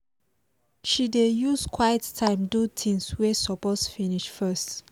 she dey use quiet time do things wey suppose finish first